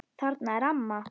Þarna er amma!